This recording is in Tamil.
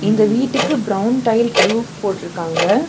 இந்த வீட்டுக்கு பிரவுன் டைல் ரூப் போட்ருக்காங்க.